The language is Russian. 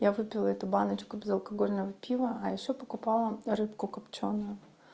я выпила эту баночку безалкогольного пива а ещё покупала рыбку копчёную